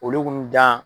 Olu kun dan